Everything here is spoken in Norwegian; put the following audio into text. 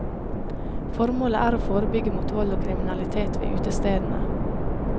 Formålet er å forebygge mot vold og kriminalitet ved utestedene.